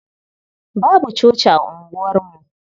Babu coci a unguwarmu.